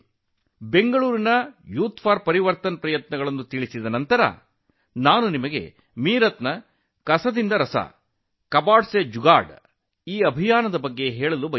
ಬೆಂಗಳೂರಿನ youth for Parivartan ಪ್ರಯತ್ನದ ನಂತರ ಮೀರತ್ನ ಕಬಾದ್ ಸೆ ಜುಗಾದ್ ಅಭಿಯಾನದ ಬಗ್ಗೆಯೂ ಹೇಳಬೇಕು